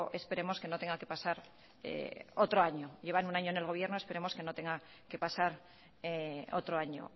esperemos que no tenga que pasar otro año llevan un año en el gobierno esperemos que no tenga que pasar otro año